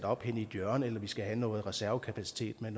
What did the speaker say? op i et hjørne eller om vi skal have noget reservekapacitet med